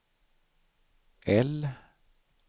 L